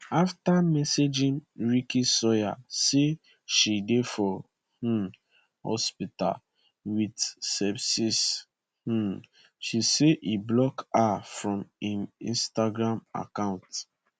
afta messaging ricky sawyer say she dey for um hospital wit sepsis um she say e block her from im instagram account